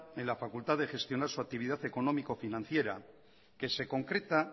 en la facultad de gestionar su actividad económico financiera que se concreta